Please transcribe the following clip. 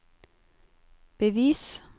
bevis